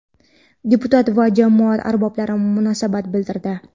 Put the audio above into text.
deputat va jamoat arboblari munosabat bildirdi.